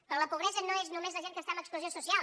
però la pobresa no és només la gent que està en exclusió social